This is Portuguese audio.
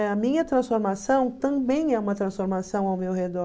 A minha transformação também é uma transformação ao meu redor.